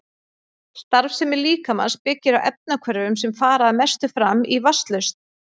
Starfsemi líkamans byggir á efnahvörfum sem fara að mestu fram í vatnslausn.